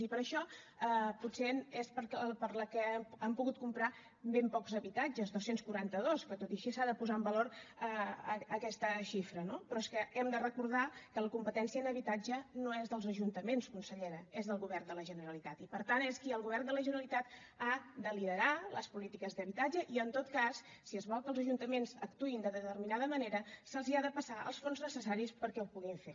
i per això és potser pel que han pogut comprar ben pocs habitatges dos cents i quaranta dos que tot i així s’ha de posar en valor aquesta xifra no però és que hem de recordar que la competència en habitatge no és dels ajuntaments consellera és del govern de la generalitat i per tant és el govern de la generalitat qui ha de liderar les polítiques d’habitatge i en tot cas si es vol que els ajuntaments actuïn de determinada manera se’ls ha de passar els fons necessaris perquè ho puguin fer